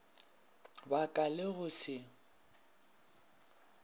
ba ka le go se